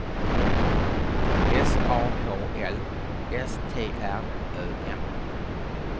S A H L S T R Ö M